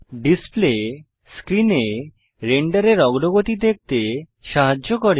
display স্ক্রিনে রেন্ডারের অগ্রগতি দেখতে সাহায্য করে